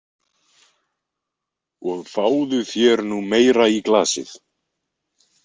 Og fáðu þér nú meira í glasið.